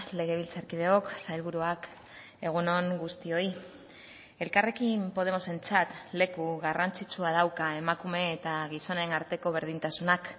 legebiltzarkideok sailburuak egun on guztioi elkarrekin podemosentzat leku garrantzitsua dauka emakume eta gizonen arteko berdintasunak